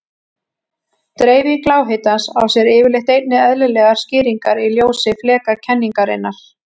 Dreifing lághitans á sér yfirleitt einnig eðlilegar skýringar í ljósi flekakenningarinnar.